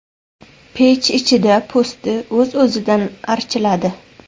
Pech ichida po‘sti o‘z-o‘zidan archiladi.